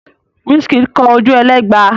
Wizkid kọ Ojuelegba?